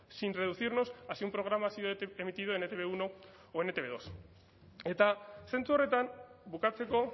sin reducirnos a si un programa ha sido emitido en e te be uno o en etb bi eta zentzu horretan bukatzeko